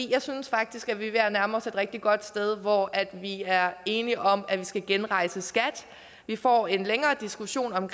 jeg synes faktisk at vi er ved at nærme os et rigtig godt sted hvor vi er enige om at vi skal genrejse skat vi får en længere diskussion om